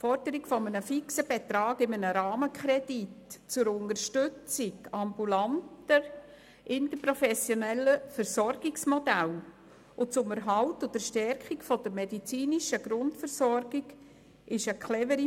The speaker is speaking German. Die Forderung nach einem fixen Betrag in einem Rahmenkredit zur Unterstützung ambulanter, interprofessioneller Versorgungsmodelle und zum Erhalt und der Stärkung der medizinischen Grundversorgung ist clever.